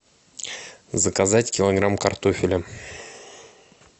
заказать килограмм картофеля